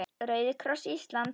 Rauði kross Íslands